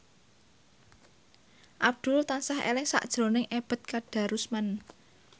Abdul tansah eling sakjroning Ebet Kadarusman